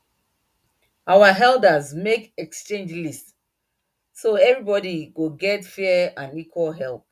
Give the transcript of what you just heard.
our elders make exchange list so everybody go get fair and equal help